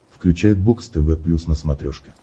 включай бокс тв плюс на смотрешке